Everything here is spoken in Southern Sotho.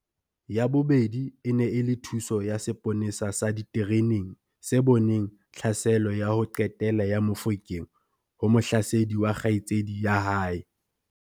Ya bobedi e ne e le thuso ya seponesa sa ditereneng se boneng tlhaselo ya ho qetela ya Mofokeng ho mohlasedi wa kgaitsedi ya hae.